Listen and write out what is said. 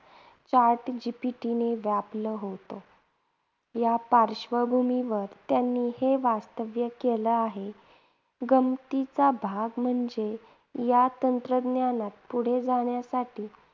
chat GPT ने गाजवलं होत, या पार्श्वभूमीवर त्यांनी हे वक्तव्य केलं आहे. गमतीचा भाग म्हणजे या तंत्रज्ञानात पुढे जाण्यासाठी